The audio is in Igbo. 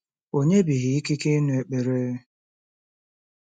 O nyebeghị ikike ịnụ ekpere.